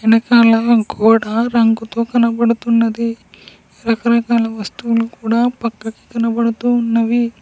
వెనకాల గోడ రంగుతో కనబడుతున్నది రకరకాల వస్తువులు కూడా పక్కకి కనబడుతూ ఉన్నవి.